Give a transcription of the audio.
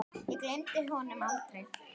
Ég gleymi honum aldrei.